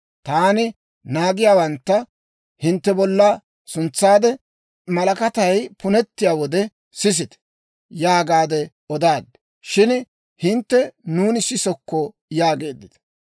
Taani naagiyaawantta hintte bolla suntsaade, ‹Malakatay punettiyaa wode sisite!› yaagaade odaad. Shin hintte, ‹Nuuni sisokko› yaageeddita.